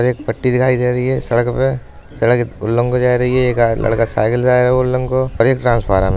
और एक पट्टी दिखाई दे रही है सड़क पे। सड़क उल्लग को जा रही है। एक लडका साइकिल से आया उल्लंग को और एक ट्रांसफार्म है।